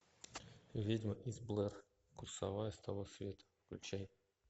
ведьма из блэр курсовая с того света включай